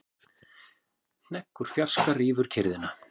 Hnegg úr fjarska rýfur kyrrðina.